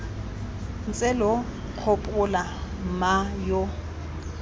ntse lo nkgopola mma yo